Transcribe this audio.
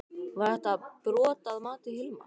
Var þetta brot að mati Hilmars?